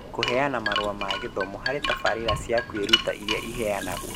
Kũheana marũa ma gĩthomo harĩ tabarĩra cia kwĩruta ĩrĩa ĩheanagwo.